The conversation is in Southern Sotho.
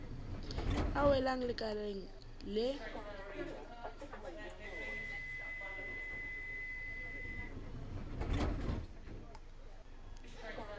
a welang lekaleng le le